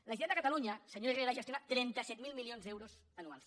la generalitat de catalunya senyor herrera gestiona trenta set mil milions d’euros anuals